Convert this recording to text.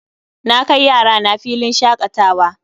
Na kai yarana filin shakatawa